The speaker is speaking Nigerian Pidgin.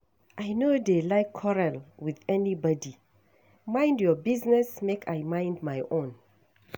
I no dey like quarrel with anybody. Mind your business make I mind my own.